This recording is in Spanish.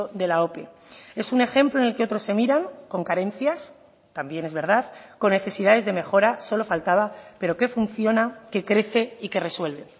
de la ope es un ejemplo en el que otros se miran con carencias también es verdad con necesidades de mejora solo faltaba pero que funciona que crece y que resuelve